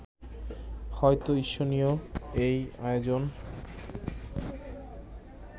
হয়তো ঈর্ষণীয় এই আয়োজন